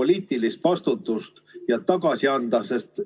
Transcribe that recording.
poliitilist vastutust võtta ja tagasi astuda?